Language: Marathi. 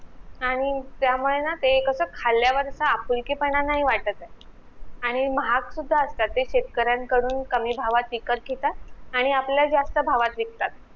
आणि त्यामुळे ना ते कस खाल्यावर आपुलकी पणा नाही वाटत आणि महाग सुद्धा असतात ते शेतकऱ्यांकडून कमी भावात विकत घेतात आणि आपल्याला जास्त भावात विकतात